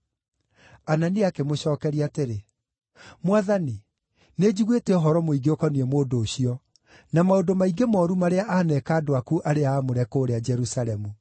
Anania akĩmũcookeria atĩrĩ, “Mwathani, nĩnjiguĩte ũhoro mũingĩ ũkoniĩ mũndũ ũcio, na maũndũ maingĩ mooru marĩa aaneka andũ aku arĩa aamũre kũũrĩa Jerusalemu.